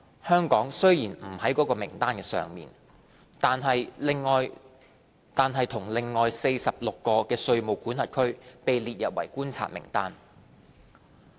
香港雖然不在該名單之上，但與另外46個稅務管轄區被列入觀察名單。